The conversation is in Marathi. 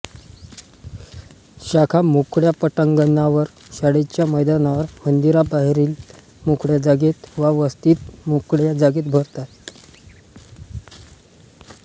शाखा मोकळ्या पटांगणांवर शाळेच्या मैदानांवर मंदिरांबाहेरील मोकळ्या जागेत वा वस्तीतील मोकळ्या जागेत भरतात